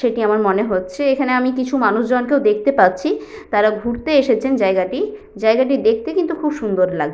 সে টি আমার মনে হচ্ছে এখানে আমি কিছু মানুষ জন কেও দেখতে পাচ্ছি তারা ঘুরতে এসেছেন জায়গাটি জায়গাটি দেখতে কিন্তু খুব সুন্দর লা --